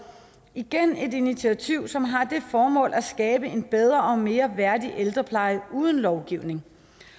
igen et initiativ som har det formål at skabe en bedre og mere værdig ældrepleje uden lovgivning